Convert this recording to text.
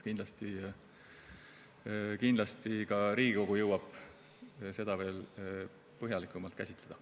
Kindlasti jõuab ka Riigikogu seda veel põhjalikumalt käsitleda.